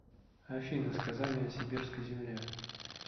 афина сказание о сибирской земле